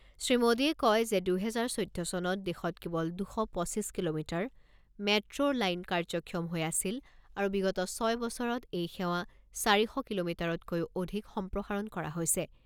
শ্ৰীমোডীয়ে কয় যে দুহেজাৰ চৈধ্য চনত দেশত কেৱল দুশ পঁচিছ কিলোমিটাৰ মেট্ৰো লাইন কাৰ্যক্ষম হৈ আছিল আৰু বিগত ছয় বছৰত এই সেৱা চাৰি শ কিলোমিটাৰতকৈও অধিক সম্প্ৰসাৰণ কৰা হৈছে।